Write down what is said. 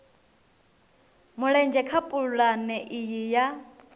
mulenzhe kha pulane iyi ya